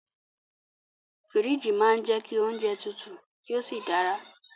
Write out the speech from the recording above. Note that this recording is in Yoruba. Fíríjì máa ń jẹ́ kí oúnjẹ tutù kí ó sì dára